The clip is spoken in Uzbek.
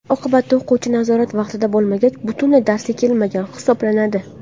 Oqibatda, o‘quvchi nazorat vaqtida bo‘lmagach, butunlay darsga kelmagan hisoblanadi.